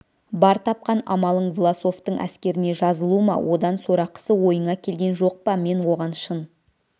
бар тапқан амалың власовтың әскеріне жазылу ма одан сорақысы ойыңа келген жоқ па мен оған шын